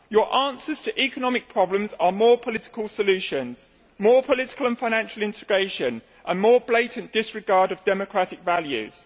Your answers to economic problems are more political solutions, more political and financial integration and more blatant disregard of democratic values.